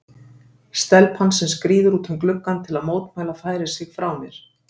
Stelpan sem skríður út um gluggann til að mótmæla færir sig frá mér.